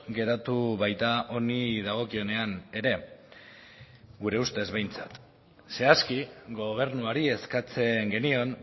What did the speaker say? geratu baita honi dagokionean ere gure ustez behintzat zehazki gobernuari eskatzen genion